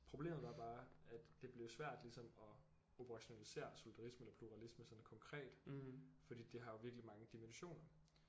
Problemet var bare at det blev svært ligesom at operationalisere solidarisme og pluralisme sådan konkret fordi det har jo virkelig mange dimensioner